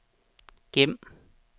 gem